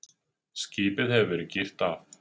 Skipið hefur verið girt af